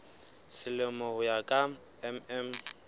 selemo ho ya ka mm